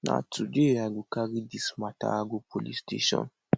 na today i go carry dis mata go police station